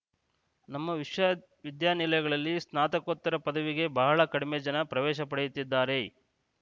ನಮ್ಮ ವಿಶ್ವವಿದ್ಯಾನಿಲಯಗಳಲ್ಲಿ ಸ್ನಾತಕೋತ್ತರ ಪದವಿಗೆ ಬಹಳ ಕಡಿಮೆ ಜನ ಪ್ರವೇಶ ಪಡೆಯುತ್ತಿದ್ದಾರೆ